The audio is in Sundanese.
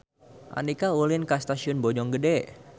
Andika ulin ka Stasiun Bojonggede